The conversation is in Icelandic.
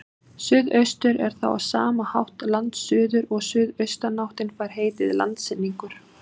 Suðaustur er þá á sama hátt landsuður og suðaustanáttin fær heitið landsynningur.